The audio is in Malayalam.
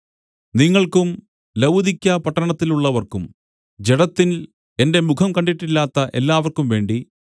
നിങ്ങൾക്കും ലവുദിക്യപട്ടണത്തിലുള്ളവർക്കും ജഡത്തിൽ എന്റെ മുഖം കണ്ടിട്ടില്ലാത്ത എല്ലാവർക്കുംവേണ്ടി